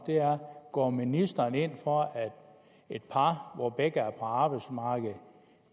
om går ministeren ind for at et par hvor begge er på arbejdsmarkedet